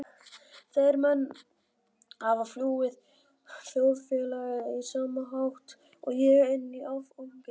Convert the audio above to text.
Þeir menn hafa flúið þjóðfélagið á sama hátt og ég- inn í áfengið.